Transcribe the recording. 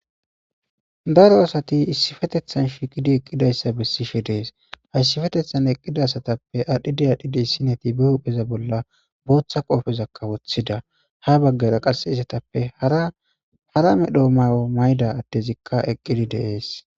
daro asati issifetethan shiqidi eqqidayssa bessishe dees hayssifetethan eqqida asatappe aadhdhide adhdhidi issineti be hupheza bolla booththa qoofezakka woththida ha baggara qase isatappe hara medhoo mawo mayda addezikka eqqidi deees